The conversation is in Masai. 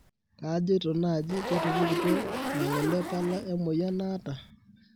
kajeito naaji ketupukutuo nagole pala emoyian naata